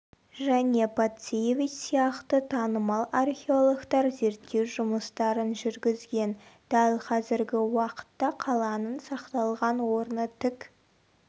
және пациевич сияқты танымал археологтар зерттеу жұмыстарын жүргізген дәл қазіргі уақытта қаланың сақталған орны тік